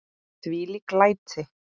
Þvílík læti!